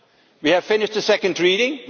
We have finished the second reading.